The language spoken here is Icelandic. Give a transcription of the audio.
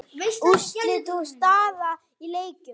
Úrslit og staða í leikjum